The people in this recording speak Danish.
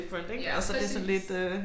Ja præcis